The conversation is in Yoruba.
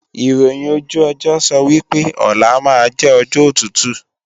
Ìròhìn ojú ọjọ́ sọ wí pé, ọlá máa jẹ́ ọjọ́ tútù